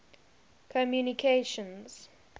communications